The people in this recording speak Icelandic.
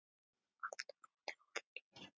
Alltaf rólegur og hlýr.